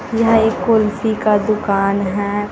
यह कुल्फी का दुकान है।